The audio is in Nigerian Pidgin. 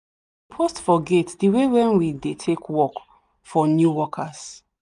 post for gate the way wen we dey take work for new workers